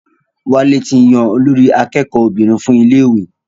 Wálé ti yan olórí akẹ́kọ̀ọ́ obìnrin fún iléèwé